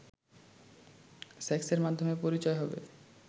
সেক্সের মাধ্যমেই পরিচয় হবে